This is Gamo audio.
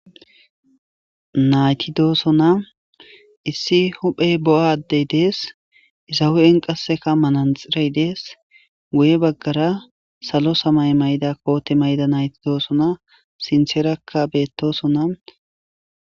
Nayti dosona Issi huphe bo'a adey des Iza hu'en qasekka manaxirey des guye bagara salo samaye Mayida kote Mayida Nayti dosona sintherakka betosona